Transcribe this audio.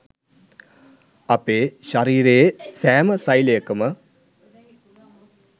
අපේ ශරීරයේ සෑම ෙසෙලයකම